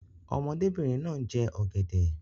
Ọmọdébìnrin náà ń jẹ ọ̀gẹ̀dẹ̀.